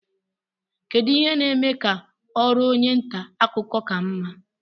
kedu ihe na-eme ka ọrụ onye nta akụkọ ka mma